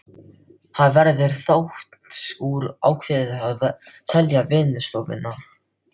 Það verður þó úr að ákveðið er að selja vinnustofuna.